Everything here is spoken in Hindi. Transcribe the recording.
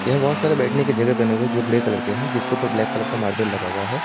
यहां बहुत सारे बैठने की जगह बने हुए है जो बड़े कलर की हैं जिसके ऊपर ब्लैक कलर का मार्बल लगा हुआ है सामने।